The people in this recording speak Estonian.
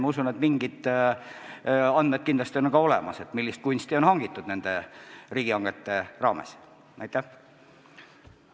Ma usun, et mingisugused andmed selle kohta, millist kunsti on nende riigihangete raames hangitud, on kindlasti olemas.